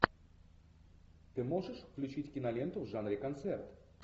ты можешь включить киноленту в жанре концерт